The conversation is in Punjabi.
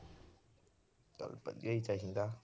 ਵਧੀਆ ਈ ਚਾਹੀਦਾ।